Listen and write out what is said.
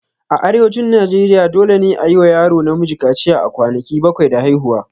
A Arewacin Najeriya, dole ne a yi wa yaro namiji kaciya a kwanaki bakwai da haihuwa.